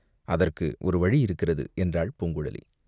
"அதற்கு ஒரு வழி இருக்கிறது" என்றாள் பூங்குழலி.